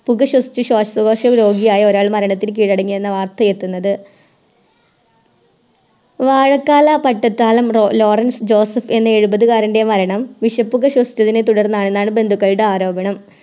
പുക ശ്വസിച്ച് ശ്വാസകോശ രോഗിയായ ഒരാൾ മരണത്തിനു കീഴടങ്ങിയെന്ന വർത്തയെത്തുന്നത് വാഴക്കാല പട്ടത്താലം ലോ ലോറൻസ് ജോസഫ് എന്ന എഴുപത് കാരൻറെ മരണം വിഷപ്പുക ശ്വസിച്ചതിനെത്തുടർന്നാണെന്നാണ് ബന്ധുക്കളുടെ ആരോപണം